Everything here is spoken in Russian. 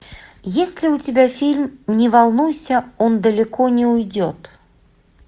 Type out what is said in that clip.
есть ли у тебя фильм не волнуйся он далеко не уйдет